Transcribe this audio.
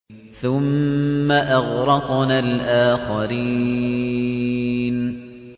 ثُمَّ أَغْرَقْنَا الْآخَرِينَ